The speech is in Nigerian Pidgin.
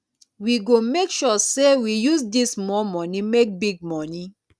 we go make sure sey we use dis small moni make big moni